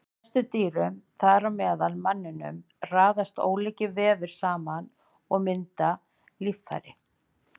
Í flestum dýrum, þar á meðal manninum, raðast ólíkir vefir saman og mynda líffæri.